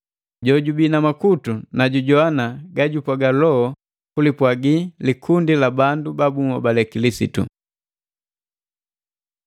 “Jojubii na makutu, na jujowana ga jupwaga Loho kulipwagi likundi la bandu ba bunhobale Kilisitu!”